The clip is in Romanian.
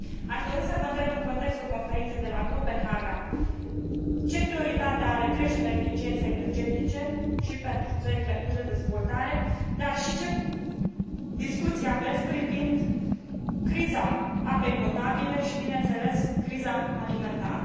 Aș dori să vă întreb în contextul conferinței de la Copenhaga ce prioritate are creșterea eficienței energetice și pentru țările în curs de dezvoltare, dar și ce discuții aveți privind criza apei potabile și, bineînțeles, criza alimentară?